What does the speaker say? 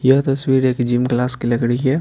यह तस्वीर एक जिम क्लास की लग रही है।